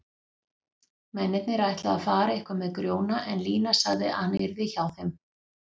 Mennirnir ætluðu að fara eitthvað með Grjóna en Lína sagði að hann yrði hjá þeim.